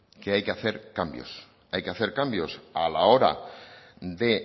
que hay que hacer cambios hay que hacer cambios a la hora de